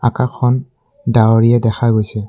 আকাশখন ডাৱৰীয়া দেখা গৈছে।